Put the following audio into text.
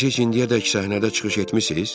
Siz heç indiyə qədər səhnədə çıxış etmisiz?